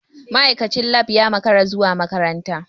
Ma'aikacin lab ya makara zuwa makaranta.